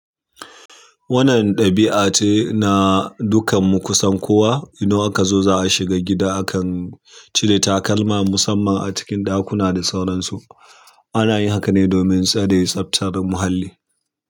Wannan ɗabi'a ce na dukan mu kusan kowa. Idan aka zo za a shiga gida, akan cire takalma musamman a cikin ɗakuna da sauransu. Ana yin haka ne domin tsare tsaftar da muhalli.